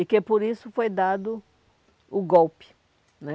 E que por isso foi dado o golpe, né?